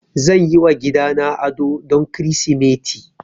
Zan yi wa gidana ado don Kirsimeti